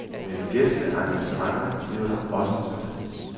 Men gæsteengagementer bliver der også tid til.